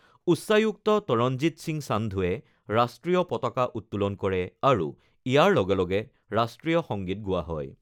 উচ্চায়ুক্ত তৰণজিৎ সিং সান্ধুৱে ৰাষ্ট্ৰীয় পতাকা উত্তোলন কৰে আৰু ইয়াৰ লগে লগে ৰাষ্ট্ৰীয় সংগীত গোৱা হয়।